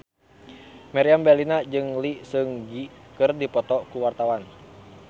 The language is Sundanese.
Meriam Bellina jeung Lee Seung Gi keur dipoto ku wartawan